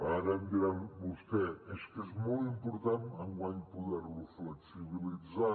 ara em dirà vostè és que és molt important enguany poder lo flexibilitzar